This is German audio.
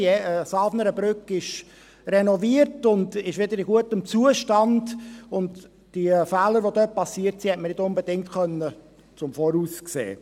Die Safnernbrücke ist renoviert und wieder in gutem Zustand, und die Fehler, die dort passiert sind, konnte man nicht unbedingt im Voraus sehen.